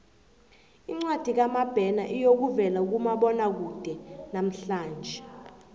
incwadi kamabena iyokuvela kumabonwakude namhlanje